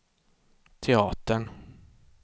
teatern